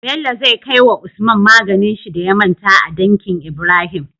Bello zai kawai wa usman maganin shi da ya manta a danki Ibrahim